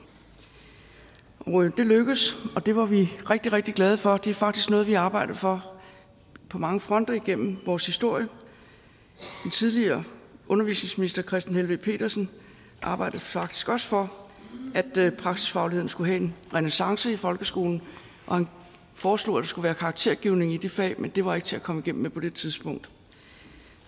det lykkedes og det var vi rigtig rigtig glade for det er faktisk noget vi har arbejdet for på mange fronter igennem vores historie den tidligere undervisningsminister kristen helveg petersen arbejdede faktisk også for at praksisfagligheden skulle have en renæssance i folkeskolen og han foreslog at der skulle være karaktergivning i de fag men det var ikke til at komme igennem med på det tidspunkt